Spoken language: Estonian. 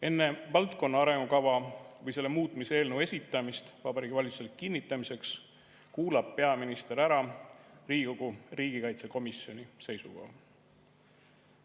Enne valdkonna arengukava või selle muutmise eelnõu esitamist Vabariigi Valitsusele kinnitamiseks kuulab peaminister ära Riigikogu riigikaitsekomisjoni seisukoha.